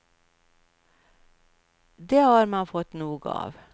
Det har man fått nog av.